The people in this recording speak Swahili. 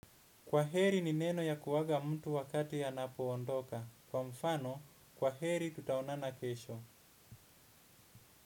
Kwaheri ni neno ya kuaga mtu wakati anapo ondoka. Kwa mfano, kwa heri tutaonana kesho.